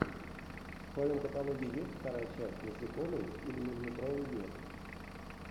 в твоем каталоге есть вторая часть насекомые или миллиметровый мир